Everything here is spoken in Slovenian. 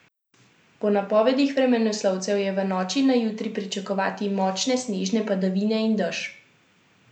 Po napovedih vremenoslovcev je v noči na jutri pričakovati močne snežne padavine in dež.